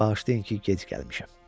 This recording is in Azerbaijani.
Bağışlayın ki, gec gəlmişəm.